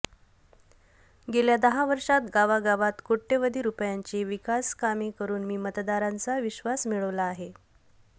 गेल्या दहा वर्षात गावागावात कोट्यवधी रुपयांची विकासकामे करून मी मतदारांचा विश्वास मिळवला आहे